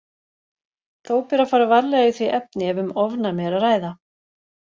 Þó ber að fara varlega í því efni ef um ofnæmi er að ræða.